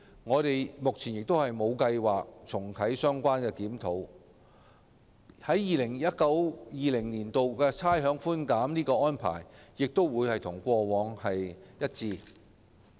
我們目前無計劃重啟相關檢討，而 2019-2020 年度差餉寬減的安排亦將與過往一致。